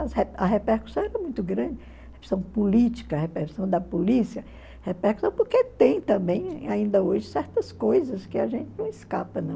a repercussão era muito grande, a repercussão política, a repercussão da polícia, repercussão porque tem também, ainda hoje, certas coisas que a gente não escapa, não.